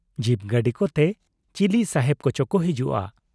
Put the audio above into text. ᱡᱤᱯ ᱜᱟᱲᱤ ᱠᱚᱛᱮ ᱪᱤᱞᱤ ᱥᱟᱦᱮᱵᱽ ᱠᱚᱪᱚ ᱠᱚ ᱦᱤᱡᱩᱜ ᱟ ᱾